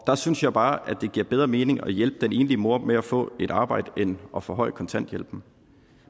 der synes jeg bare at det giver bedre mening at hjælpe den enlige mor med at få et arbejde end at forhøje kontanthjælpen